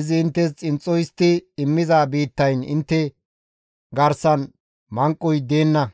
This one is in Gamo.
izi inttes xinxxo histti immiza biittayn intte garsan manqoy deenna.